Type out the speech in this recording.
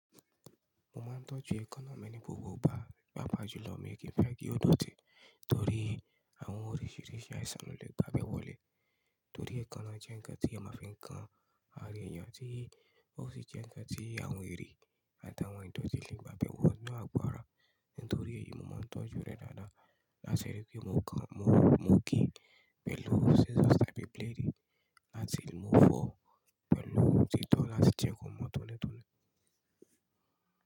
Mo máa ń tọ́jú èékánná mi ní búburú bá yàpá jùlọ, mi ò kí fẹ́ kí ó dòtì torí àwọn oríṣìíríṣìí àìsàn ló lè bá a bẹ́wọ́lẹ̀. Torí èékánná jẹ́ ǹkan tí a máa fi ń kan ara èèyàn, tí ó sì jẹ́ ǹkan tí àwọn èrì àti àwọn ìtọ́jú lè bá a bẹ́wọ́ lọ́wọ́ àgbàrá. Nítorí èyí, mo máa ń tọ́jú rẹ̀ dáadáa. Làti rí pé mo kan, mo, mo gé pẹ̀lú scissors tàbí blade, láti mú fọ pẹ̀lú títọ́ láti jẹ́ kí wọ́n mọ́ tónítóná.